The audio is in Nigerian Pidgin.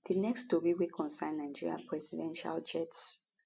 di next tori wey concern nigeria presidential jets